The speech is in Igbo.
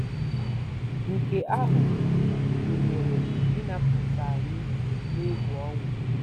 Nke ahụ gụnyere ịnapụta anyị n'egwu ọnwụ.